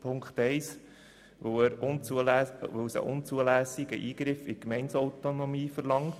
Punkt 1 lehnen wir ab, weil er einen unzulässigen Eingriff in die Gemeindeautonomie verlangt.